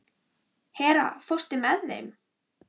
Hera, ekki fórstu með þeim?